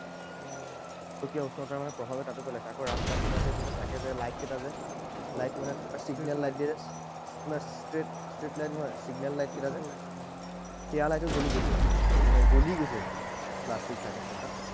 গোলকীয় উষ্ণতাৰ মানে প্ৰভাৱে তাতো পেলাইছে। আকৌ ৰাস্তাৰ কিনাৰত থাকে যে এই light কেইটা যে, light মানে signal light দিয়ে যে, street light নহয়, signal light কেইটা যে, সেইয়া light ও জ্বলি গৈছে, মানে গলি গৈছে। প্লাষ্টিক থাকে যে তাত।